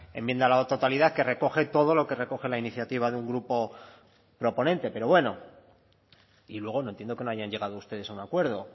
enmienda a la totalidad que recoge todo lo que recoge la iniciativa de un grupo proponente pero bueno y luego no entiendo que no hayan llegado ustedes a un acuerdo